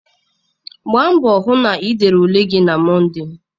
Gbaa mbọ hụ na ị dere ule gị na Mọnde!